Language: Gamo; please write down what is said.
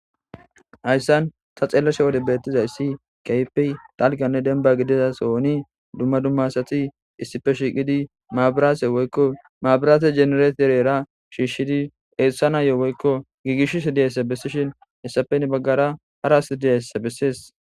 Haysan ta xelashe utidaysi kehippenne daga gidida sohoni duma duma asati issipe shiqidi mabirate jenereterera shishidi esanas gigisishe duzaysa besishe dizaysa hini bagara hara asi dizaysa beses